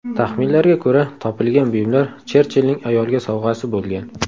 Taxminlarga ko‘ra, topilgan buyumlar Cherchillning ayolga sovg‘asi bo‘lgan.